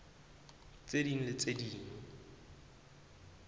tse ding le tse ding